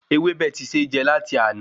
Ewebẹ tí se já lati àná